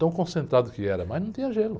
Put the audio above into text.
Tão concentrado que era, mas não tinha gelo.